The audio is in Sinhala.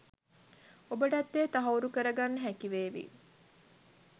ඔබටත් එය තහවුරු කරගන්න හැකිවේවි